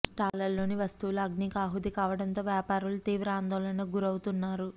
స్టాళ్లలోని వస్తువులు అగ్నికి ఆహుతి కావడంతో వ్యాపారులు తీవ్ర ఆందోళనకు గురవుతున్నారు